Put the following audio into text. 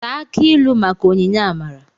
Taa akị ilu maka onyinye amara.